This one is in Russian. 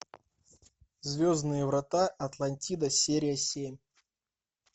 звездные врата атлантида серия семь